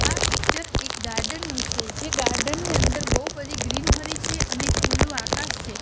આ પિક્ચર એક ગાર્ડન નું છે જે ગાર્ડન ની અંદર બોવ બધી ગ્રીનહરિ છે અને ખુલ્લું આકાશ છે.